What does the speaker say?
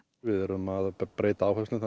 við erum að breyta áherslum